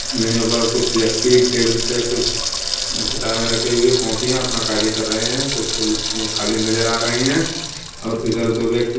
यहाँ पर कुछ व्यक्ति टेबल पे कुछ किताबें रखी हुई हैं कॉफियाँ अपना कार्य कर रहे हैं। कुछ कुर्सियाँ खाली नजर आ रही हैं और इधर दो व्यक्ति --